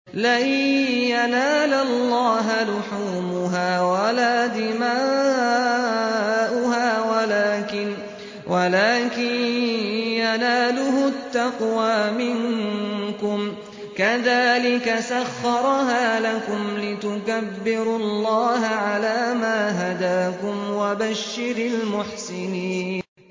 لَن يَنَالَ اللَّهَ لُحُومُهَا وَلَا دِمَاؤُهَا وَلَٰكِن يَنَالُهُ التَّقْوَىٰ مِنكُمْ ۚ كَذَٰلِكَ سَخَّرَهَا لَكُمْ لِتُكَبِّرُوا اللَّهَ عَلَىٰ مَا هَدَاكُمْ ۗ وَبَشِّرِ الْمُحْسِنِينَ